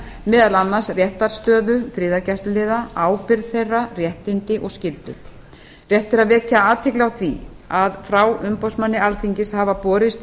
meðal annars réttarstöðu friðargæsluliða ábyrgð þeirra réttindi og skyldur rétt er að vekja athygli á því að frá umboðsmanni alþingis hafa borist